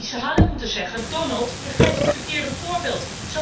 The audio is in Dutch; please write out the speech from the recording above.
Die hadden moeten zeggen Donald, je geeft het verkeerde voorbeeld.